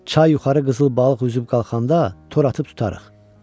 Daha yuxarı qızıl balıq üzüb qalxanda tor atıb tutarıq.